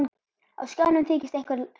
Á skjánum þykist einhver há